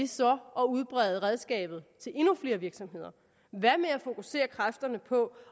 så at udbrede redskabet til endnu flere virksomheder hvad med at fokusere kræfterne på